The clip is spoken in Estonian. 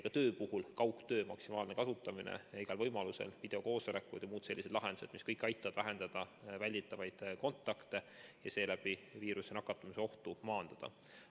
Ka kaugtöö maksimaalne kasutamine igal võimalusel, videokoosolekud ja muud sellised lahendused, mis kõik aitavad vähendada kontakte ja seeläbi viirusesse nakatumise ohtu maandada.